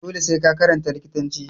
Dole sai ka karanta likitanci